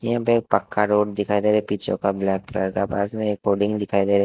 यहां पे एक पक्का रोड दिखाई दे रहा है पीछे का ब्लैक कलर का पास में एक पोडिंग दिखाई दे रही --